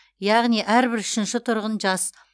яғни әрбір үшінші тұрғын жас